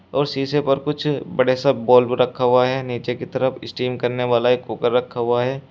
और शीशे पर कुछ बड़े सा बल्ब रखा हुआ है नीचे की तरफ स्टीम करने वाला एक कुकर रखा हुआ है।